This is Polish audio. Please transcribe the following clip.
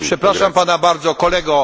Przepraszam Pana bardzo, Kolego.